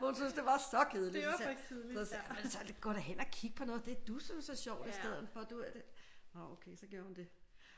Hun synes det var så kedeligt så sagde jeg så gå da hen og kig på noget af det du synes er sjovt i stedet for nå okay så gjorde hun det